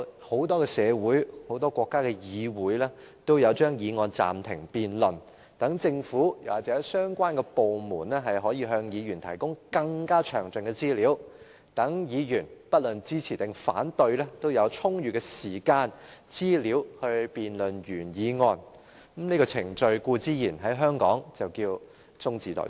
很多社會或國家的議會也會把議案暫停辯論，讓政府或相關部門可向議員提供更加詳盡的資料，讓議員不論是支持或反對，也有充裕時間和資料辯論議案，而在香港，這項程序就稱為"中止待續"。